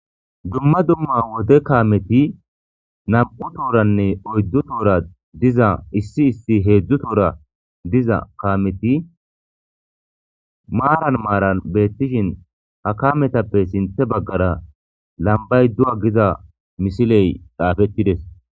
Dumma dumma wote kaameti nam'u tooranne oyddu toora diza issi issi heedzdzu toora diza kaameti maaran maaran beettishin ha kametappe sinthe baggara lambay du'a giza misiley dhaafettides.